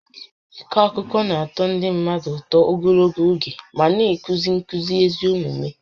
Ịkọ akụkọ na-atọ ndị mmadụ ụtọ ogologo oge ma na-akụzi nkuzi ezi omume